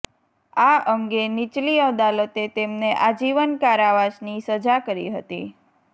આ અંગે નીચલી અદાલતે તેમને આજીવન કારાવાસની સજા કરી હતી